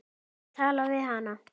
Þarf að tala við hana.